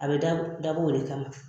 A be da dabɔ o de kama .